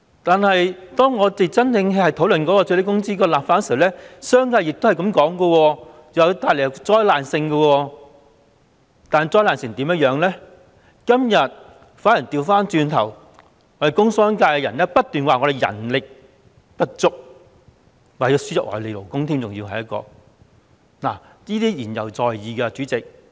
當我們討論最低工資立法時，商界說會帶來災難性影響，但工商界人士今天卻不斷說人力不足，甚至說要輸入外地勞工，這些都言猶在耳，代理主席。